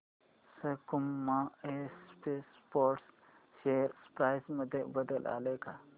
सकुमा exports share price मध्ये बदल आलाय का